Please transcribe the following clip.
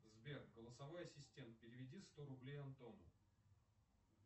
сбер голосовой ассистент переведи сто рублей антону